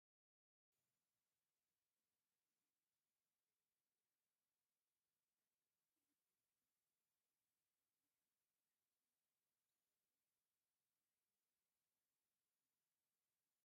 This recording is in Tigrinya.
እና ቲኤምኤች ናይ ዝብሃል ሚድያ ኣርማ እዩ፡፡ ዳርጋ ኩሎም ሚድያታት ትግራይ ርእሲ ሓወልቲ ኣኽሱም ኣርምኦም ዝገበሩ እዮም፡፡ ንዓይ እዚ ናይ ሸቐጥ ስልቲ እዩ ዝመስለኒ፡፡